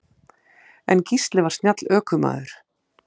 En Gísli var snjall ökumaður.